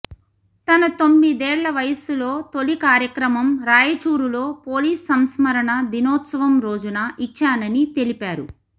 తన తొమ్మిదేళ్ల వయస్సులో తొలి కార్యక్రమం రాయచూరులో పోలీస్ సంస్మరణ దినోత్సవం రోజున ఇచ్చానని తెలిపారు